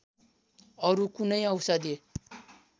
अरू कुनै औषधि